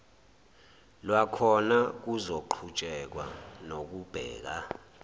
lwakhona kuzoqhutshekwa nokubheka